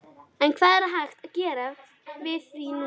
En hvað er hægt að gera við því núna?